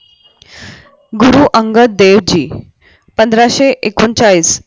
गुरु अंगद देव जी पंधराशे एकोणचाळीस